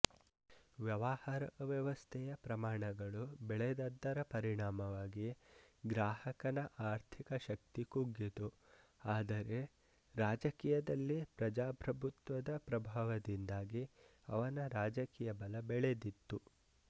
ವ್ಯವಹಾರವ್ಯವಸ್ಥೆಯ ಪ್ರಮಾಣಗಳು ಬೆಳೆದದ್ದರ ಪರಿಣಾಮವಾಗಿ ಗ್ರಾಹಕನ ಆರ್ಥಿಕಶಕ್ತಿ ಕುಗ್ಗಿತು ಆದರೆ ರಾಜಕೀಯದಲ್ಲಿ ಪ್ರಜಾಪ್ರಭುತ್ವದ ಪ್ರಭಾವದಿಂದಾಗಿ ಅವನ ರಾಜಕೀಯ ಬಲ ಬೆಳೆದಿತ್ತು